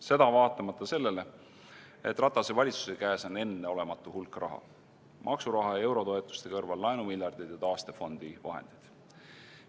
Seda vaatamata sellele, et Ratase valitsuse käes on enneolematu hulk raha, maksuraha ja eurotoetuste kõrval laenumiljardid ja taastefondi vahendid.